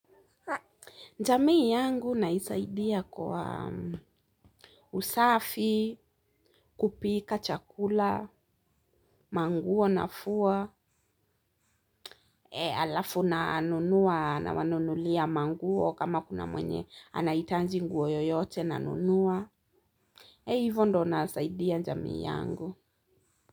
Jamii yangu naisaidia kwa usafi, kupika chakula, manguo nafua, alafu na nunua na wanunulia manguo kama kuna mwenye anahitaji nguo yoyote na nunua. Ee hivyo ndo nasaidia jamii yangu.